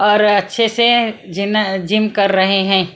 और अच्छे से जिन जिम कर रहे हैं।